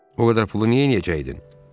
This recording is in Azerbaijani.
O qədər pulu niyə eləyəcəkdin?